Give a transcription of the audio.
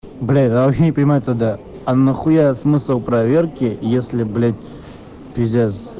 блять вообще не понимаю тогда а нахуя смысл проверки если блять пиздец